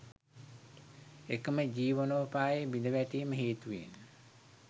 එකම ජීවනෝපාය බිඳවැටීම හේතුවෙන්